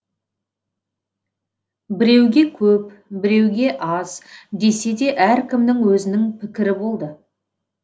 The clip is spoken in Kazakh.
біреуге көп біреуге аз десе де әркімнің өзінің пікірі болды